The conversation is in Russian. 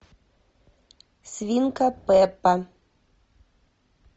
свинка пеппа